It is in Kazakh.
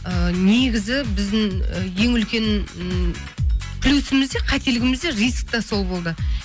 ыыы негізі біздің і ең үлкен ы плюсіміз де қателігіміз де риск те сол болды